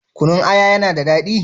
Kunun aya ya na da daɗi?